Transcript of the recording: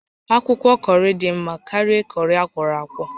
Akwụkwọ kọrị dị mma karịa kọrị akwọrọ akwọ